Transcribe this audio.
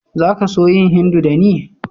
Za ka so yin Hindu da ni??